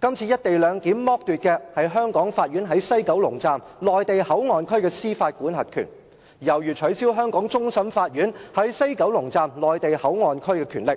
這次"一地兩檢"剝奪香港法院在西九龍站內地口岸區的司法管轄權，猶如取消香港終審法院在此口岸區的權力，